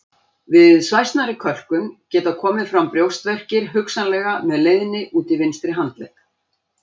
Við svæsnari kölkun geta komið fram brjóstverkir hugsanlega með leiðni út í vinstri handlegg.